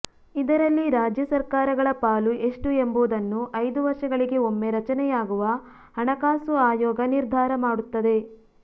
ಇದರಲ್ಲಿ ರಾಜ್ಯ ಸರ್ಕಾರಗಳ ಪಾಲು ಎಷ್ಟು ಎಂಬುದನ್ನು ಐದು ವರ್ಷಗಳಿಗೆ ಒಮ್ಮೆ ರಚನೆಯಾಗುವ ಹಣ ಕಾಸು ಆಯೋಗ ನಿರ್ಧಾರ ಮಾಡುತ್ತದೆ